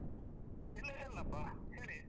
ಇಲ್ಲ ಇಲ್ಲಪ್ಪ ಹೇಳಿ.